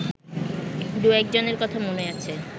দু-একজনের কথা মনে আছে